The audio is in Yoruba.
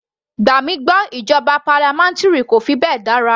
Gbà mí gbọ́ ìjọba parliamentary kò fi bẹ́ẹ̀ dára.